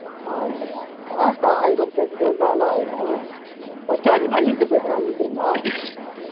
அஹ் அப்படித்தான் அதான் ஆகிரும் பேசிக்கிட்டே இருந்தா அதெல்லாம் ஆகிரும் first உ அணில்ட பேசுனேன் அணில் தெரியுமா